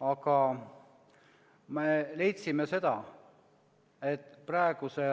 Aga me leidsime, et praeguse